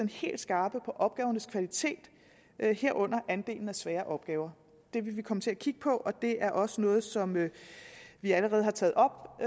helt skarpe på opgavernes kvalitet herunder andelen af svære opgaver det vil vi komme til at kigge på og det er også noget som vi allerede har taget op